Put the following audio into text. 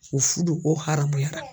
U fudu o haramuyara.